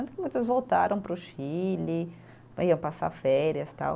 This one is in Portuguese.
Tanto que muitas voltaram para o Chile, iam passar férias tal.